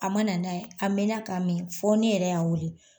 A ma na n'a ye, an mɛna ka mɛn fɔ ne yɛrɛ y'a wele